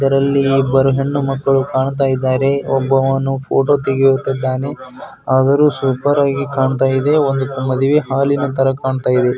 ಇದರಲ್ಲಿ ಇಬ್ಬರು ಹೆಣ್ಣು ಮಕ್ಕಳು ಕಾಣ್ತಾ ಇದ್ದಾರೆ ಅವನು ಫೋಟೋನು ತೆಗಿತಾ ಇದ್ದಾನೆ ತುಂಬಾ ಚೆನ್ನಾಗಿದೆ ಮದುವೆ ಹಾಲಿನಂತೆ ಕಾಣುತ್ತಿದೆ.